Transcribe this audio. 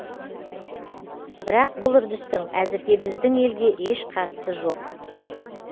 бірақ бұл үрдістің әзірге біздің елге еш қатысы жоқ